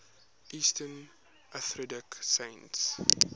eastern orthodox saints